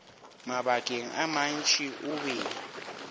mabakeng a mantši o be